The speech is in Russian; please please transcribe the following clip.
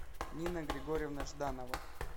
нина григорьевна жданова